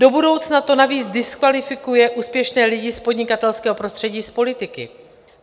Do budoucna to navíc diskvalifikuje úspěšné lidi z podnikatelského prostředí z politiky.